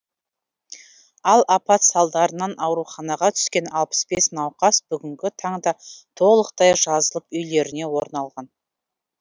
ал апат салдарынан ауруханаға түскен алпыс бес науқас бүгінгі таңда толықтай жазылып үйлеріне орналған